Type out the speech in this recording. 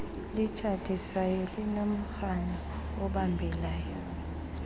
litshatisayo linomrhano obambekayo